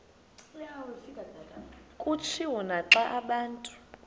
kutshiwo naxa abantu